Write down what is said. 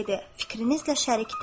“Fikrinizlə şərik deyiləm.